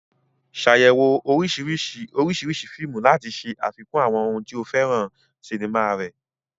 Ṣàyẹ̀wò oríṣiríṣi oríṣiríṣi fíìmù láti ṣe àfikún àwọn ohun tí o fẹ́ràn sinimá rẹ.